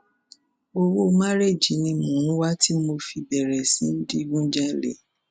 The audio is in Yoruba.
owó márẹẹjì ni mò ń wá tí mo fi bẹrẹ sí í digun jalè